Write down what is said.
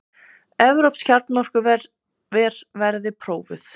Evrópsk kjarnorkuver verði prófuð